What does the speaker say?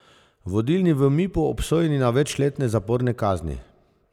Vodilni v Mipu obsojeni na večletne zaporne kazni.